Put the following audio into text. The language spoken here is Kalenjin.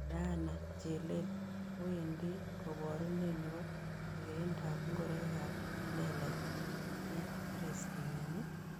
Diana Chelel kowendi kaborunet ne po kergeindap ngoroikab che lelach eng' paris kenyini